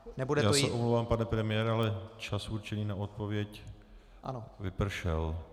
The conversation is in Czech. Já se omlouvám, pane premiére, ale čas určený na odpověď vypršel.